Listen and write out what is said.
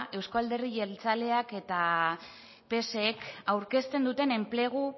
euzko alderdi jeltzaleak eta psek aurkezten duten enplegu